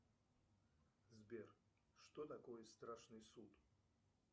сбер что такое страшный суд